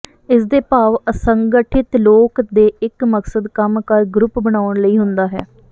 ਇਸ ਦੇ ਭਾਵ ਅਸੰਗਠਿਤ ਲੋਕ ਦੇ ਇੱਕ ਮਕਸਦ ਕੰਮ ਕਰ ਗਰੁੱਪ ਬਣਾਉਣ ਲਈ ਹੁੰਦਾ ਹੈ